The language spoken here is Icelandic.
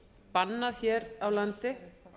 bannað hér á landi